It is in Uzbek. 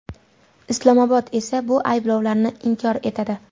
Islomobod esa bu ayblovlarni inkor etadi.